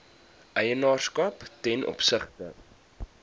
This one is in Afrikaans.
eienaarskap ten opsigte